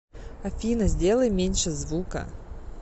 афина сделай меньше звука